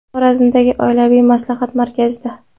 Xorazmdagi oilaviy maslahat markazida.